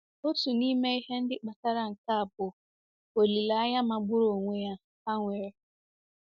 Otu n'ime ihe ndị kpatara nke a bụ olileanya magburu onwe ya ha nwere.